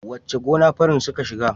Wace gona farin suka shiga?